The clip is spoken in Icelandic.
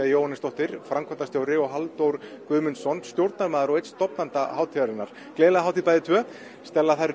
Jóhannesdóttir framkvæmdastjóri hátíðarinnar og Halldór Guðmundsson stjórnarmaður og einn stofnenda hátíðarinnar gleðilega hátíð bæði tvö